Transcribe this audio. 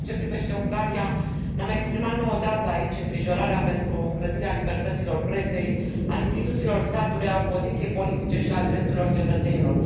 În ceea ce privește Ungaria, ne am exprimat nu o dată aici îngrijorarea pentru îngrădirea libertăților presei, a instituțiilor statului, a opoziției politice și a drepturilor cetățenilor.